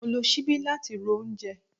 Mo lo sibi lati ro oúnjẹ